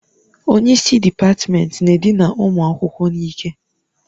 Onye isi dịpatmenti na-edina ụmụ akwụkwọ n'ike.